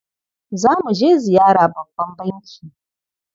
Za mu je ziyara babban banki.